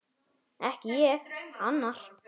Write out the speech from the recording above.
Ekki ég: annar.